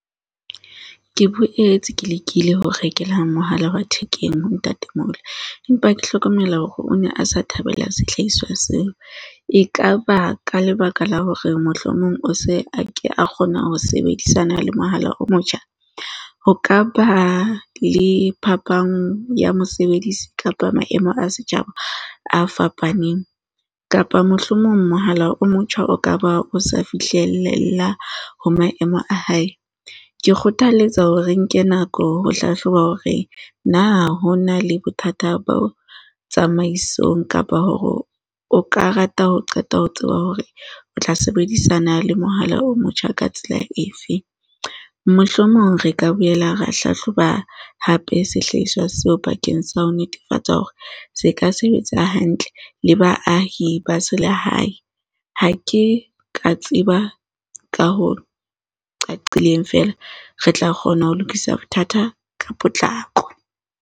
Ke boetse ke lekile ho rekela mohala wa thekeng ho ntatemoholo, empa ke hlokomela hore o ne a sa thabela sehlaiswa seo. Ekaba ka lebaka la hore mohlomong o se a ke a kgona ho sebedisana le mohala o motjha? Ho ka ba le phapang ya mosebedisi kapa maemo a setjhaba a fapaneng, kapa mohlomong mohala o motjha o ka ba o sa fihlelela ho maemo a hae? Ke kgothaletsa hore re nke nako ho hlahloba hore na ho na le bothata bo tsamaisong kapa hore o ka rata ho qeta ho tseba hore o tla sebedisana le mohala o motjha ka tsela efe. Mohlomong re ka boela ra hlahloba hape sehlaiswa seo bakeng sa ho netefatsa hore se ka sebetsa hantle le baahi ba selehae. Ha ke ka tseba ka ho qaqileng feela re tla kgona ho lokisa bothata ka potlako.